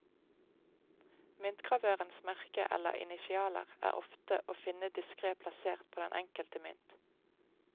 Myntgravørens merke eller initialer er ofte å finne diskret plassert på den enkelte mynt.